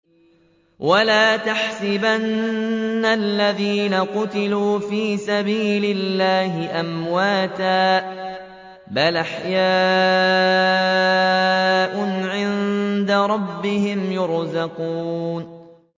وَلَا تَحْسَبَنَّ الَّذِينَ قُتِلُوا فِي سَبِيلِ اللَّهِ أَمْوَاتًا ۚ بَلْ أَحْيَاءٌ عِندَ رَبِّهِمْ يُرْزَقُونَ